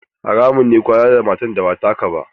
Haramun ne kwana da matar da ba taka ba.